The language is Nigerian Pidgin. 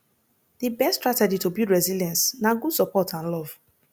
di best strategy to build resilience na good support and love